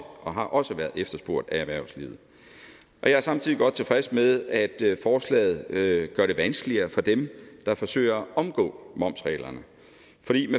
og har også været efterspurgt af erhvervslivet og jeg er samtidig godt tilfreds med at forslaget gør det vanskeligere for dem der forsøger at omgå momsreglerne